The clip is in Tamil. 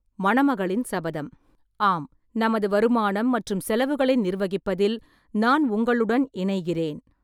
மணமகளின் சபதம்: ஆம், நமது வருமானம் மற்றும் செலவுகளை நிர்வகிப்பதில் நான் உங்களுடன் இணைகிறேன்.